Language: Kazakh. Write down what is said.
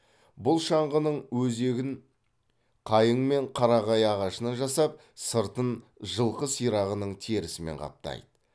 бұл шаңғының өзегін қайың мен қарағай ағашынан жасап сыртын жылқы сирағының терісімен қаптайды